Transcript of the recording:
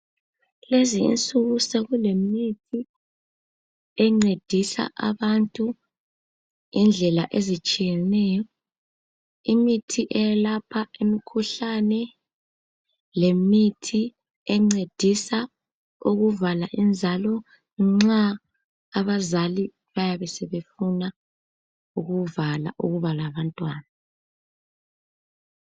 lezi insuku sekule mithi encedisa abantu indlela ezitshiyeneyo imithi eyelapha imikhuhlane lemithi encedisa ukuvala inzalo nxa abazali baybe sebefuna ukuvala ukuba labantwana